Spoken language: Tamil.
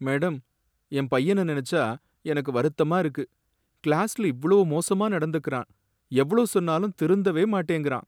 மேடம், என் பையன நினைச்சா எனக்கு வருத்தமா இருக்கு. கிளாஸ்ல இவ்ளோ மோசமா நடந்துக்குறான், எவ்ளோ சொன்னாலும் திருந்தவே மாட்டேங்கிறான்.